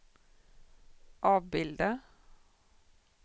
avbilda